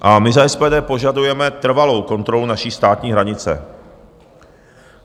A my za SPD požadujeme trvalou kontrolu naší státní hranice.